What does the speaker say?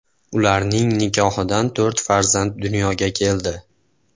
Ularning nikohidan to‘rt farzand dunyoga keldi.